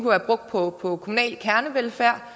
være brugt på på kommunal kernevelfærd